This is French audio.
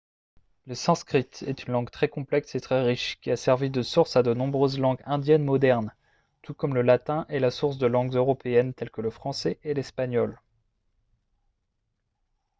le sanskrit est une langue très complexe et très riche qui a servi de source à de nombreuses langues indiennes modernes tout comme le latin est la source de langues européennes telles que le français et l'espagnol